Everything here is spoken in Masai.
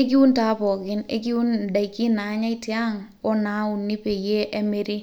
ekiun taa pookin ekiun indaikin naanyay tiang onauni peyie emiri